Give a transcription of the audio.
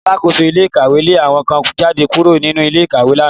Alákóso ilé ìkàwé lé àwọn kan jáde kúrò nínú ilé ìkàwé lánàá